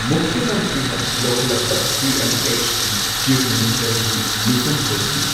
ꯃꯨꯈ꯭ꯌ ꯃꯟꯇ꯭ꯔꯤꯅ ꯂꯧꯈꯠꯂꯛꯄ ꯁꯤ M H T chief minister ꯒꯤ ꯃꯤꯐꯝ ꯀꯧꯈꯤ꯫